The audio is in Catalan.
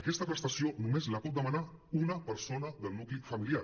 aquesta prestació només la pot demanar una persona del nucli familiar